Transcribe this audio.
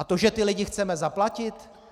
A to, že ty lidi chceme zaplatit?